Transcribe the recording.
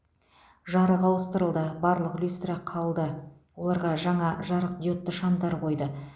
жарық ауыстырылды барлық люстра қалды оларға жаңа жарықдиодты шамдар қойды